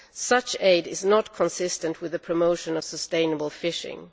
Such aid is not consistent with the promotion of sustainable fishing.